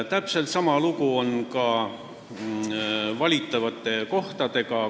Täpselt sama lugu on ka valitavate kohtadega.